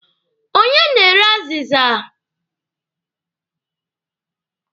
Onye na-ere azịza?